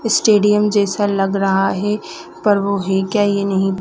stadium जैसा लग रहा है पर वो है क्या ये नहीं--